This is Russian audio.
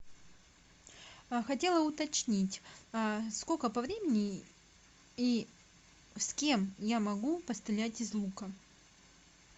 хотела уточнить сколько по времени и с кем я могу пострелять из лука